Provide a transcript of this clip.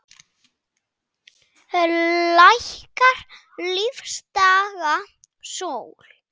Lækkar lífdaga sól.